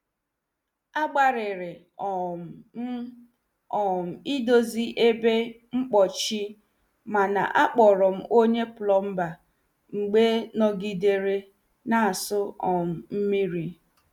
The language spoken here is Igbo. A gbariri um m um idozi ebe mpochi mana akpọrọ m onye plomba mgbe nọgidere na- asụ um mmiri.